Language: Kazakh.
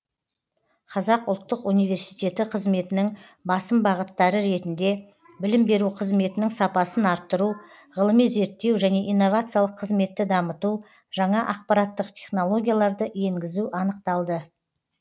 қазақ ұлттық университеті қызметінің басым бағыттары ретінде білім беру қызметінің сапасын арттыру ғылыми зерттеу және инновациялық қызметті дамыту жаңа ақпараттық технологияларды енгізу анықталды